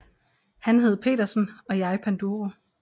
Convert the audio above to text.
Han hed Petersen og jeg Panduro